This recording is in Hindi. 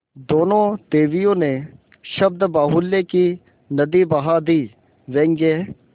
दोनों देवियों ने शब्दबाहुल्य की नदी बहा दी व्यंग्य